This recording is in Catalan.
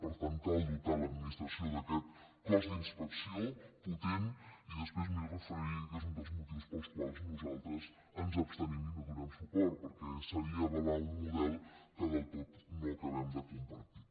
per tant cal dotar l’administració d’aquest cos d’inspecció potent i després m’hi referiré que és un dels motius pels quals nosaltres ens abstenim i no hi donem suport perquè seria avalar un model que del tot no acabem de compartir